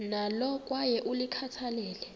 nalo kwaye ulikhathalele